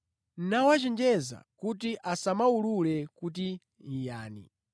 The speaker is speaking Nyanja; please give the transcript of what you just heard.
nawachenjeza kuti asamuwulule kuti yani.